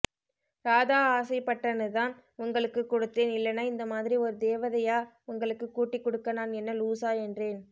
ராதா ஆசைபட்டனுதான் உங்களுக்கு குடுத்தேன் இல்லனா இந்தமாதிரி ஒரு தேவதையா உங்களுக்கு கூட்டிகுடுக்க நான் என்ன லூசா என்றேன்